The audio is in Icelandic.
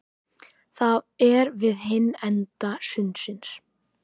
Það er við hinn enda sundsins.